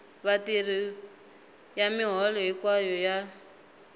vatirhi ya miholo hinkwayo ya